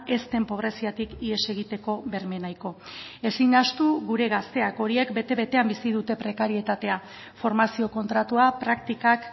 ez den pobreziatik ihes egiteko berme nahiko ezin ahaztu gure gazteak horiek bete betean bizi dute prekarietatea formazio kontratua praktikak